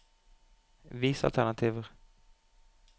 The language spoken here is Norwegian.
Vis alternativer